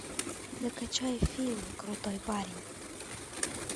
закачай фильм крутой парень